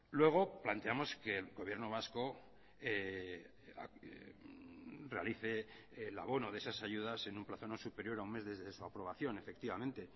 luego planteamos que el gobierno vasco realice el abono de esas ayudas en un plazo no superior a un mes desde su aprobación efectivamente